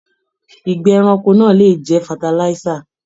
Igbẹ́ ẹranko náà lè jẹ fatalisa.